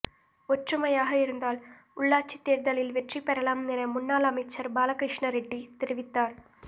ஒற்றுமையாக இருந்தால் உள்ளாட்சித் தோ்தலில் வெற்றி பெறலாம் என முன்னாள் அமைச்சா் பாலகிருஷ்ணாரெட்டி தெரிவித்தாா்